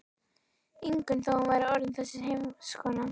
Ingunn þó hún væri orðin þessi heimskona.